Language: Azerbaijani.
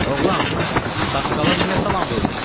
Oğlan, saqqala niyə salam vermirsən?